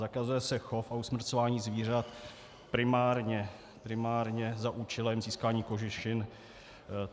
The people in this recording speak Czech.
Zakazuje se chov a usmrcování zvířat primárně za účelem získání kožešin.